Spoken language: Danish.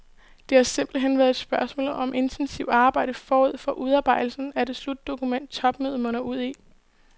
Det har simpelt hen været et spørgsmål om intensivt arbejde forud for udarbejdelsen af det slutdokument, topmødet munder ud i.